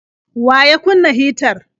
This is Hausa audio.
Wa ya kunna hitar?